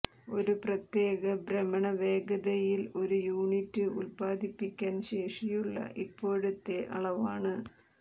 ഒരു പ്രത്യേക ഭ്രമണ വേഗതയിൽ ഒരു യൂണിറ്റ് ഉൽപ്പാദിപ്പിക്കാൻ ശേഷിയുള്ള ഇപ്പോഴത്തെ അളവാണ്